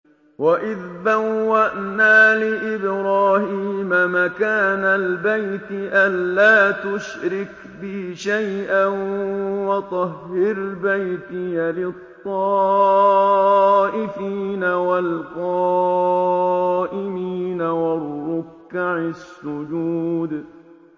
وَإِذْ بَوَّأْنَا لِإِبْرَاهِيمَ مَكَانَ الْبَيْتِ أَن لَّا تُشْرِكْ بِي شَيْئًا وَطَهِّرْ بَيْتِيَ لِلطَّائِفِينَ وَالْقَائِمِينَ وَالرُّكَّعِ السُّجُودِ